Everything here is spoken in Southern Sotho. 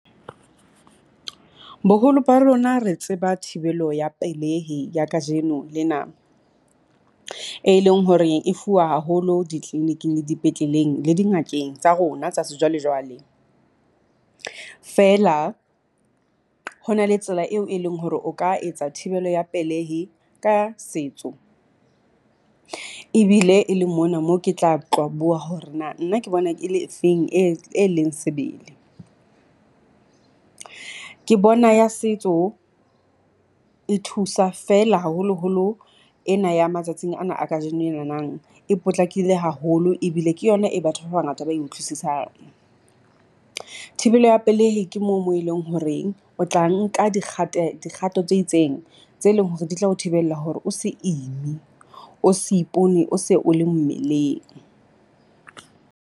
Boholo ba rona re tseba thibelo ya pelehi ya kajeno lena, e leng hore e fuwa haholo di-clinic-ing le di petleleng le di ngakeng tsa rona tsa sejwalejwale. Feela ho na le tsela eo e leng hore o ka etsa thibelo ya pelehi ka setso, ebile e le mona moo ke tla tlo bua hore na nna ke bona ke le efeng e leng sebele. Ke bona ya setso e thusa feela haholoholo ena ya matsatsing ana a kajeno enanang e potlakile haholo ebile ke yona e batho ba bangata ba e utlwisisang. Thibelo ya pelehi ke moo mo e leng horeng o tla nka dikgate dikgato tse itseng tse leng hore di tla o thibella hore o se ime o se ipone o se o le mmeleng.